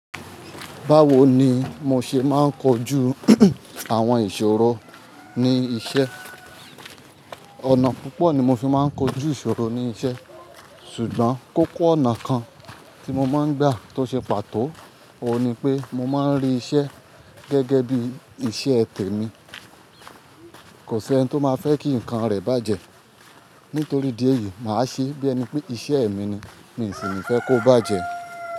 Báwo ni mo ṣe máa ń kojú àwọn ìṣòro ní iṣẹ́? Ọ̀nà púpọ̀ ni mo fi máa ń kojú ìṣòro ní iṣẹ́, ṣùgbọ́n kókó ọ̀nà kan tí mo máa ń gbà tó ṣe pàtó, òun ni pé mo máa ń rí iṣẹ́ gẹ́gẹ́ bí iṣẹ́ tẹ̀ mi. Kò sí ẹni tó máa fẹ́ kí nǹkan rẹ̀ bàjẹ́. Nítorí ìdí èyí, màá ṣe bí ẹni pé iṣẹ́ mi ni, mi sì ní fẹ́ kó bàjẹ́.